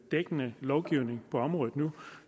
dækkende lovgivning på området nu